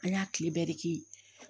An y'a tile bɛɛ de kɛ